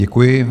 Děkuji.